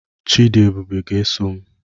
Chidiebube ga-eso m.